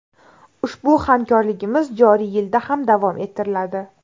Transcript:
Ushbu hamkorligimiz joriy yilda ham davom ettiriladi.